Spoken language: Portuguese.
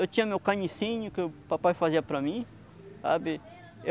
Eu tinha meu canicinho que o papai fazia para mim, sabe?